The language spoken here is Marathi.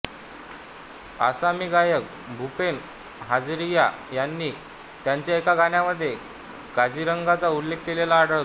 आसामी गायक भूपेन हजारिका यांनी त्यांच्या एका गाण्यामध्ये काझीरंगाचा उल्लेख केलेला आढळतो